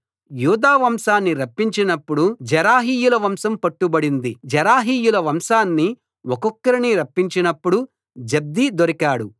యూదా వంశాన్ని రప్పించినప్పుడు జెరహీయుల వంశం పట్టుబడింది జెరహీయుల వంశాన్ని ఒక్కొక్కరిని రప్పించినప్పుడు జబ్ది దొరికాడు